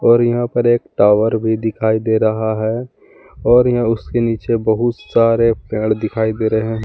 और यहां पर एक टावर भी दिखाई दे रहा है और उसके नीचे बहुत सारे पेड़ दिखाई दे रहे हैं।